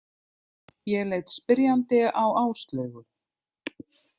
Ég leit spyrjandi á Áslaugu.